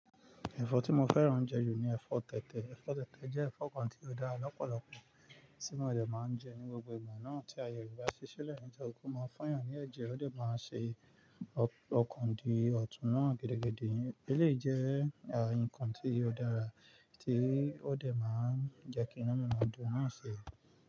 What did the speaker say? Ẹ̀fọ́ tí mo fẹ́ràn jù ni ẹ̀fọ́ tẹ̀tẹ̀. Ẹ̀fọ́ tẹ̀tẹ̀ jẹ́ ẹ̀fọ́ kan tí ó dára lọ́pọ̀lọpọ̀, tí mo dẹ̀ máa ń jẹ ní gbogbo ìgbà náà tí àyè rẹ ba ṣi sílẹ̀. Ǹjẹ́ ó kó máa fọ́n yàn ní ẹ̀jẹ̀, ó dẹ̀ máa ṣe ọ̀kàn dí ọ̀tún náà gẹ́dẹ́gẹ́dẹ́. Eleyi jẹ́ nǹkan tí ó dára tí ó dẹ̀ máa ń jẹ́ kí inu mí maa dun náà ṣi.